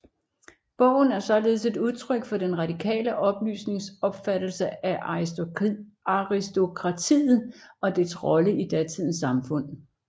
Bogen er således et udtryk for den radikale oplysnings opfattelse af aristokratiet og dets rolle i datidens samfund